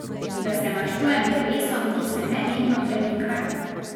Da se maščujem drevesom, ki se nenehno premikajo.